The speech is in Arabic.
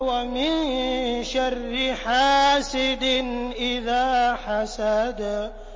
وَمِن شَرِّ حَاسِدٍ إِذَا حَسَدَ